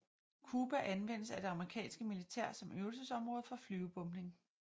Kuba anvendes af det amerikanske militær som øvelsesområde for flyvebombning